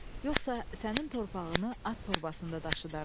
Yoxsa sənin torpağını at torbasında daşıdaram.